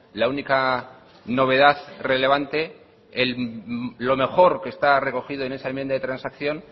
la única novedad relevante lo mejor que está recogido en esa enmienda de transacción